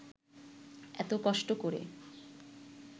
এত কষ্ট করে